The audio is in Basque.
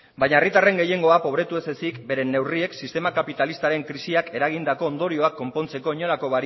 baina herritarren gehiengo probetu ez ezik beren neurriek sistema kapitalistaren krisiak eragindako ondorioak konpontzeko inolako